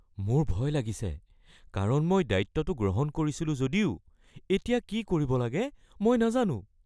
মোৰ ভয় লাগিছে কাৰণ মই দায়িত্বটো গ্ৰহণ কৰিছিলো যদিও এতিয়া কি কৰিব লাগে মই নাজানোঁ।